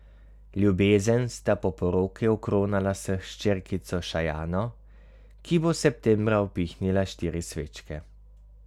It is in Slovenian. Ljubezen sta po poroki okronala s hčerkico Šajano, ki bo septembra upihnila štiri svečke.